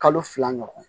Kalo fila ɲɔgɔn